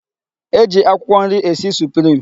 E ji akwụkwọ nri esi suprim.